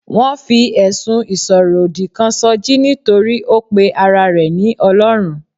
Wọn fi ẹ̀sùn ìsọ̀rọ̀ òdì kan sọjí nítorí ó pe ara rẹ ní Ọlọ́run.